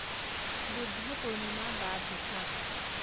বুদ্ধা পূৰ্ণিমা বা ভেছাক